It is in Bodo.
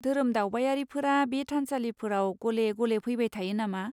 धोरोम दावबायारिफोरा बे थानसालिफोराव गले गले फैबाय थायो नामा?